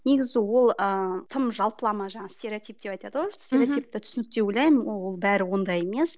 негізі ол ыыы тым жалпылама жаңағы стереотип деп айтады ғой мхм стереотипті түсінік деп ойлаймын ол бәрі ондай емес